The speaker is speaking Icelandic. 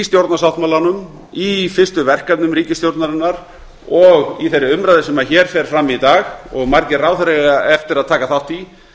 stjórnarsáttmálanum í fyrstu verkefnum ríkisstjórnarinnar og í þeirri umræðu sem hér fer fram í dag og margir ráðherrar eiga eftir að taka þátt í